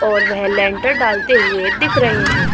और वह लेन्टर डालते हुये दिख रहे हैं।